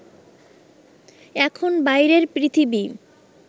এখন বাইরের পৃথিবী